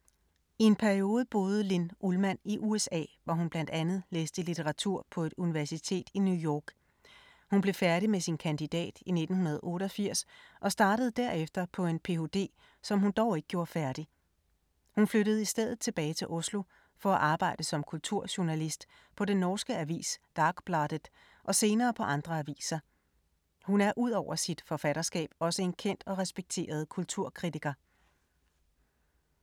I en periode boede Linn Ullmann i USA, hvor hun blandt andet læste litteratur på et universitet i New York. Hun blev færdig med sin kandidat i 1988 og startede derefter på en ph.d. som hun dog ikke gjorde færdig. Hun flyttede i stedet tilbage til Oslo for at arbejde som kulturjournalist på den norske avis Dagbladet og senere på andre aviser. Hun er ud over sit forfatterskab også en kendt og respekteret kulturkritiker.